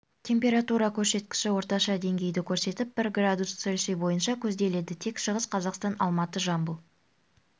температура көрсеткіші орташа деңгейді көрсетіп бір градус цельсий бойынша көзделеді тек шығыс қазақстан алматы жамбыл